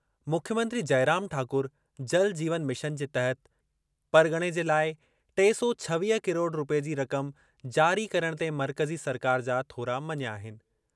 मुख्यमंत्री जयराम ठाकुर जल जीवन मिशन जे तहत परॻणे जे लाइ टे सौ छवीह किरोड़ रूपए जी रक़म जारी करणु ते मर्कज़ी सरकार जा थोरा मञिया आहिनि।